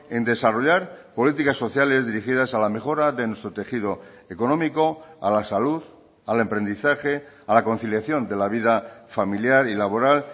en desarrollar políticas sociales dirigidas a la mejora de nuestro tejido económico a la salud al emprendizaje a la conciliación de la vida familiar y laboral